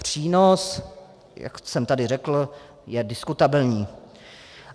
Přínos, jak jsem tady řekl, je diskutabilní.